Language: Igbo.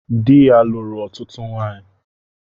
Dị ya lụrụ ọtụtụ nwanyị